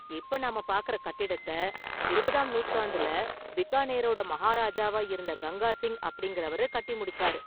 இப்ப நாம பார்க்கற கட்டிடத்த இருபதாம் நூற்றாண்டுல பிகானேரோட மஹாராஜாவா இருந்த கங்கா சிங் அப்படிங்கறவர் கட்டி முடிச்சாரு.